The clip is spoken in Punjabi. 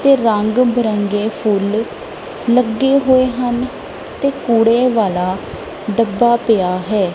ਤੇ ਰੰਗ ਬਿਰੰਗੇ ਫੁੱਲ ਲੱਗੇ ਹੋਏ ਹਨ ਤੇ ਕੂੜੇ ਵਾਲਾ ਡੱਬਾ ਪਿਆ ਹੈ।